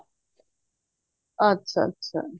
ਅੱਛਾ ਅੱਛਾ